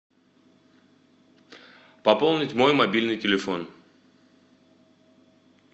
пополнить мой мобильный телефон